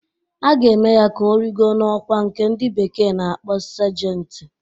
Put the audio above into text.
A ga-eme ya ka origo n'ọkwá nke ndị bekee na-akpọ Sajenti